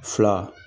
Fila